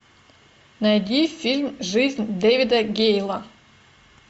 найди фильм жизнь дэвида гейла